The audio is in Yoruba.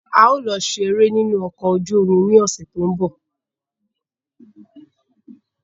A ó lọ ṣe eré ní inú ọkọ̀ ojú omi ní ọ̀sẹ̀ tó ń bọ̀.